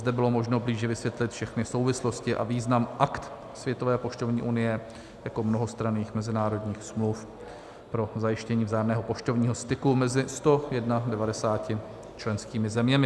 Zde bylo možno blíže vysvětlit všechny souvislosti a význam Akt Světové poštovní unie jako mnohostranných mezinárodních smluv pro zajištění vzájemného poštovního styku mezi 191 členskými zeměmi.